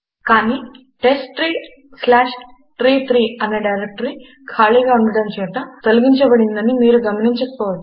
కాని testtreeట్రీ3 అనే డైరెక్టరీ ఖాళీగా ఉండటముచేత తొలగించబడిందని మీరు గమనించకపోవచ్చు